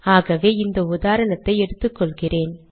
ஆகவே இந்த உதாரணத்தை எடுத்துக்கொள்கிறேன்